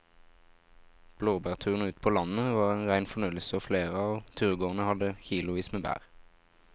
Blåbærturen ute på landet var en rein fornøyelse og flere av turgåerene hadde kilosvis med bær.